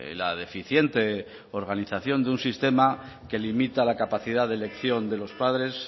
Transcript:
la deficiente organización de un sistema que limita la capacidad de elección de los padres